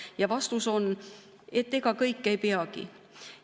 Ja vastus on, et ega kõike ei peagi.